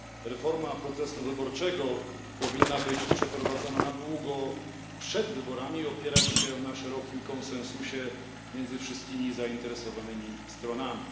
Reforma procesu wyborczego powinna być przeprowadzona na długo przed wyborami i opierać się na szerokim konsensusie między wszystkimi zainteresowanymi stronami.